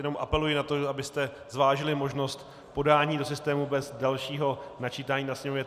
Jenom apeluji na to, abyste zvážili možnost podání do systému bez dalšího načítání na sněmovně.